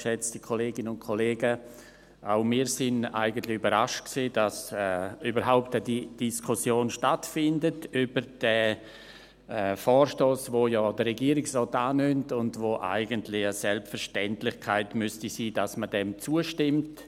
Auch wir waren eigentlich überrascht, dass überhaupt eine Diskussion über den Vorstoss stattfindet, welcher der Regierungsrat ja annimmt und bei dem es eigentlich eine Selbstverständlichkeit sein müsste, dass man ihm zustimmt.